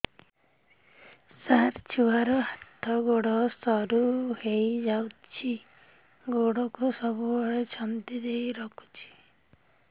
ସାର ଛୁଆର ହାତ ଗୋଡ ସରୁ ହେଇ ଯାଉଛି ଗୋଡ କୁ ସବୁବେଳେ ଛନ୍ଦିଦେଇ ରଖୁଛି